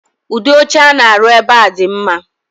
udi oche I na-arụ̣ ebe a di mma